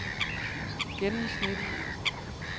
gennemsnit